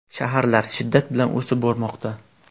Shaharlar shiddat bilan o‘sib bormoqda.